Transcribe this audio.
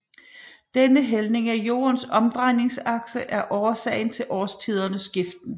Denne hældning af Jordens omdrejningsakse er årsagen til årstidernes skiften